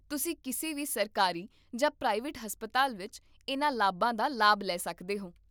ਤੁਸੀਂ ਕਿਸੇ ਵੀ ਸਰਕਾਰੀ ਜਾਂ ਪ੍ਰਾਈਵੇਟ ਹਸਪਤਾਲ ਵਿੱਚ ਇਹਨਾਂ ਲਾਭਾਂ ਦਾ ਲਾਭ ਲੈ ਸਕਦੇ ਹੋ